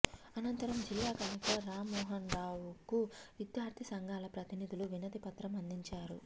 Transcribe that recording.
అనంతరం జిల్లా కలెక్టర్ రామ్మోహన్రావుకు విద్యార్థి సంఘాల ప్రతినిదులు వినతి పత్రం అందించారు